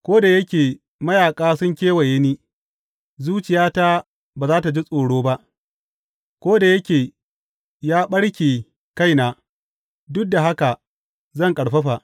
Ko da yake mayaƙa sun kewaye ni, zuciyata ba za tă ji tsoro ba; ko da yake ya ɓarke a kaina, duk da haka zan ƙarfafa.